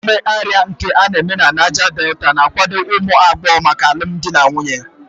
Ememe Ịrịa nke a na-eme na Niger Delta na-akwado ụmụ agbọghọ maka alụmdi na nwunye